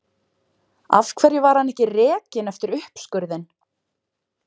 Af hverju var hann ekki rekinn eftir uppskurðinn?